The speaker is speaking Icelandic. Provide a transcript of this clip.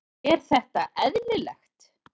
Er það eðlilegt?